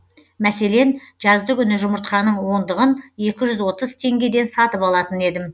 мәселен жаздыгүні жұмыртқаның ондығын екі жүз отыз теңгеден сатып алатын едім